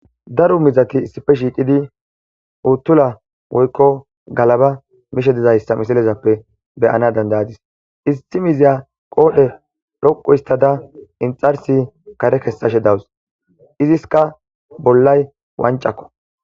Daru mizati issife shiiqidi uttula woykko galaba mishe dizayssa misilezappe beyana dandayadis issi miziya qoodhe dhoqu histada inxarsi kare kessashe dawus iziska bollay wancakko.